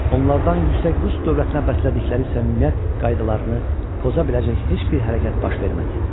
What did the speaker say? Onlardan yüksək rus dövlətinə bəslədikləri səmimiyyət qaydalarını poza biləcək heç bir hərəkət baş vermədi.